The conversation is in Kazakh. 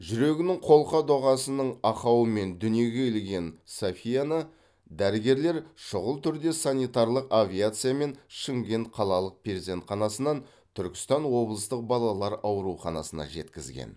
жүрегінің қолқа доғасының ақауымен дүниеге келген софияны дәрігерлер шұғыл түрде санитарлық авиациямен шымкент қалалық перзентханасынан түркістан облыстық балалар ауруханасына жеткізген